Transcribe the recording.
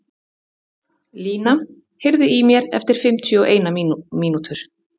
Lína, heyrðu í mér eftir fimmtíu og eina mínútur.